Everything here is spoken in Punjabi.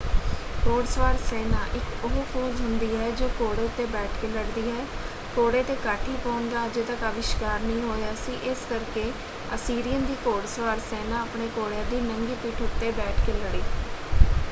ਘੋੜਸਵਾਰ ਸੈਨਾ ਇੱਕ ਉਹ ਫੌਜ਼ ਹੁੰਦੀ ਹੈ ਜੋ ਘੋੜੇ ਉੱਤੇ ਬੈਠ ਕੇ ਲੜਦੀ ਹੈ। ਘੋੜੇ 'ਤੇ ਕਾਠੀ ਪਾਉਣ ਦਾ ਅਜੇ ਤੱਕ ਆਵਿਸ਼ਕਾਰ ਨਹੀਂ ਹੋਇਆ ਸੀ ਇਸ ਕਰਕੇ ਅਸੀਰੀਅਨ ਦੀ ਘੋੜਸਵਾਰ ਸੈਨਾ ਆਪਣੇ ਘੋੜਿਆਂ ਦੀ ਨੰਗੀ ਪਿੱਠ ਉੱਤੇ ਬੈਠ ਕੇ ਲੜੀ।